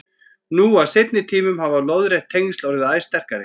Nú á seinni tímum hafa lóðrétt tengsl orðið æ sterkari.